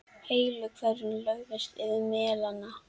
Heilu hverfin lögðust yfir melana.